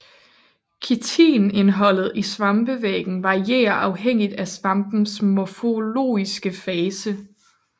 Kitinindholdet i svampevæggen varierer afhængigt af svampens morfologiske fase